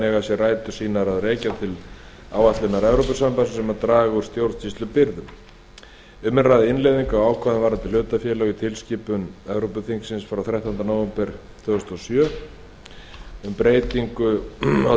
ákvæðin eiga rætur sínar að rekja til áætlunar evrópusambandsins um að draga úr stjórnsýslubyrðum um er að ræða innleiðingu á ákvæðum varðandi hlutafélög í tilskipun evrópuþingsins frá þrettánda nóvember tvö þúsund og sjö um breytingu á